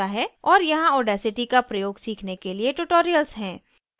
और यहाँ audacity का प्रयोग सीखने के लिए tutorials हैं